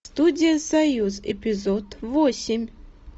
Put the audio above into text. студия союз эпизод восемь